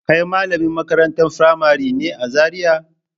Kai malamin makarantar firamari ne a Zariya?